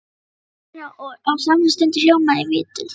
spurði maðurinn og á samri stundu hljómuðu í vitund